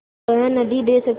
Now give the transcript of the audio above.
वह नदीं दे सकता